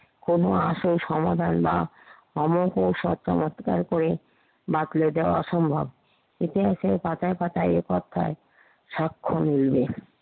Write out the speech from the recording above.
কোনো আসল সমাধান বা অলৌকিক সত্য অস্বীকার করে বাতলে দেওয়া অসম্ভব, এতে আছে পাতায় পাতায় এ অধ্যায় স্বাক্ষর নিবেন।